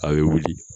A' bɛ wuli